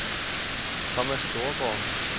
Thomas Storgaard